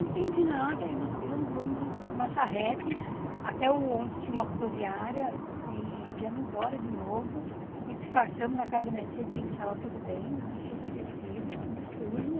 Não entendi nada e nós pegamos o ônibus e uma charrete até onde tinha uma rodoviária e viemos embora de novo e disfarçamos na casa da minha tia que estava tudo bem, nada tinha acontecido, tudo sujo.